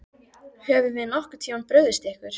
Höfum við nokkurn tímann brugðist ykkur?